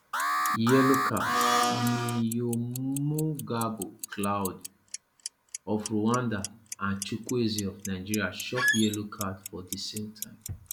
yellow cardniyomugabo claude of rwanda and chukuwweze of nigeria chop yellow card for di same time